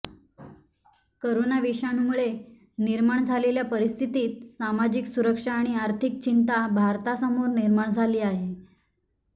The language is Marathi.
करोना विषाणूमुळे निर्माण झालेल्या परिस्थितीत सामाजिक सुरक्षा आणि आर्थिक चिंता भारतासमोर निर्माण झाली आहे